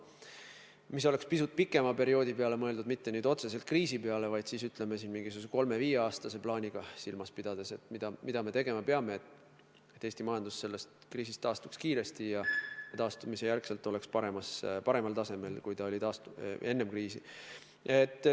See oleks pisut pikema perioodi peale mõeldud, mitte otseselt kriisiajaks – ütleme, kolmeks kuni viieks aastaks ja silmas pidades, mida me tegema peame, et Eesti majandus taastuks kriisist kiiresti ja oleks taastumise järel paremal tasemel kui enne kriisi.